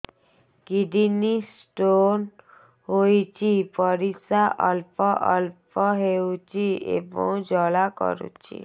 kidney stone ହୋଇଛି ପରିସ୍ରା ଅଳ୍ପ ଅଳ୍ପ ହେଉଛି ଏବଂ ଜ୍ୱାଳା କରୁଛି